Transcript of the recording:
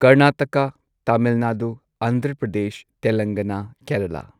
Karnataka Tamil Nadu Andhra Pradesh Telangana Kerala